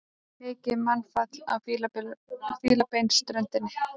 Mikið mannfall á Fílabeinsströndinni